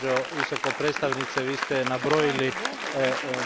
Gospođo Visoka predstavnice, vi ste nabrojali